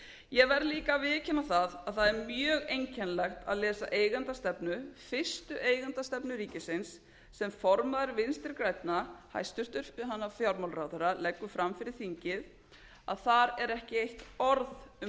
ég verð líka að viðurkenna að það er mjög einkennilegt að lesa eigendastefnu fyrstu eigendastefnu ríkisins sem formaður vinstri grænna hæstvirtur fjármálaráðherra leggur fram fyrir þingið að þar er ekki eitt orð um